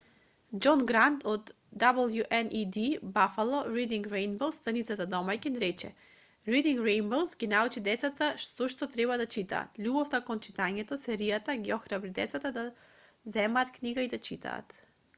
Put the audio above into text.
џон грант од wned buffalo reading rainbow's станицата домаќин рече: reading rainbow's ги научи децата зошто треба да читаат... љубовта кон читањето — [серијата] ги охрабри децата да земат книга и да читаат